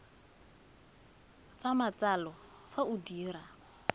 sa matsalo fa o dira